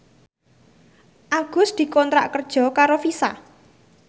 Agus dikontrak kerja karo Visa